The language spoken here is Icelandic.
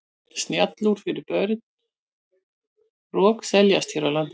Snjallúr fyrir börn rokseljast hér á landi.